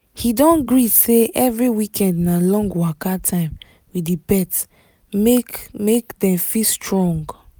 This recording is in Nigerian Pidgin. he don gree say every weekend na long waka time with the pet make make dem fit strong